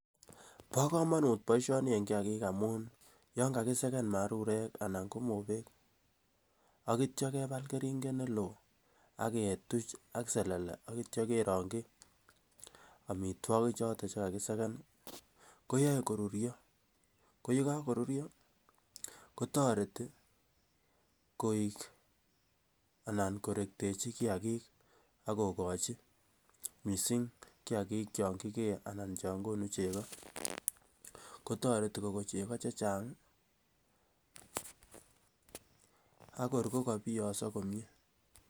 Pa kamanut poishoni en kiakik amun yan kakisakan marurek anan ko mopek ak yetya kepal keringet ne loo ak ketuch ak selele ak yetya kerang'chi amitwogik chotok che kakisakan ko yae korurya. Ko ye kakorurya ko tareti koek anan korektechi kiakik ak kokachi, missing' ko kiakik chon kikee anan cha konu cheko , ko tareti ko kon cheko che chang' ak kor ko ka piyang'sa komye.